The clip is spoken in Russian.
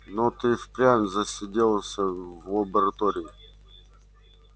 но ты и впрямь засиделся в лаборатории